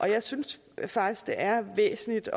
jeg synes faktisk det er væsentligt